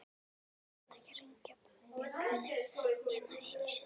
Þeir þurftu ekki að hringja bjöllunni nema einu sinni.